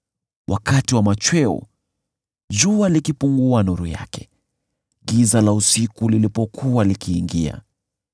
wakati wa machweo, jua likipungua nuru yake, giza la usiku lilipokuwa likiingia.